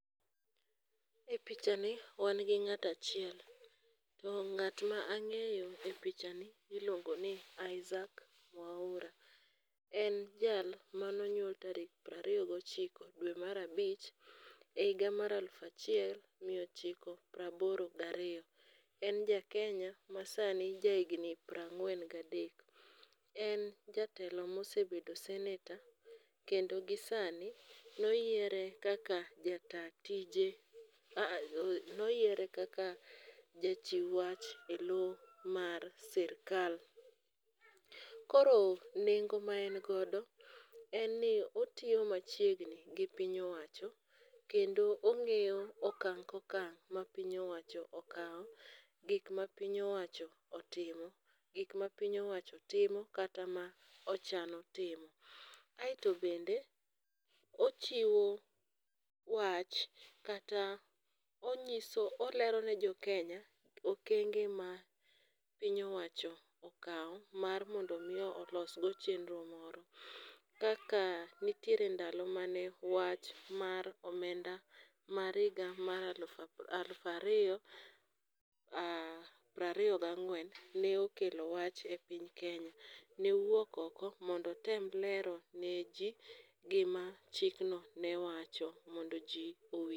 E pichani ,wan gi ng'ato achiel to ng'at ma ang'eyo e pichani iluongo ni Isaac Mwaura. En jal mane onyuol tarik prariyo gochiko dwe mar abich e higa mar aluf achiel miya ochiko prabolo gariyo. En jakenya masani jahigni prang'wen gadek, En jatelo mosebedo seneta kendo gi sani noyiere kaka jachiw wach e lo mar sirikal. Koro nengo ma en godo en ni otiyo machiegni gi piny owacho kendo ong'iyo okang' kokang' ma piny owacho okawo, gik mapiny oawcho otimo, gik mapiny owacho timo kata mochano timo. aeto bende ochiwo wach kata olero ne jokenya okenge mapiny owacho okawo mar mondo omi olos go chenro moro, kaka nitiere ndalo mane wach mar omenda mar higa mar aluf ariyo prariyo gang'wen ne okelo wach e piny kenya. Ne owuok ok mondo otem lero ni ji gima chikno ne wacho mondo ji owinj.